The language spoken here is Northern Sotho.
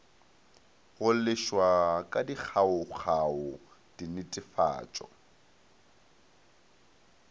go lefšwa ka dikgaokgao dinetefatšo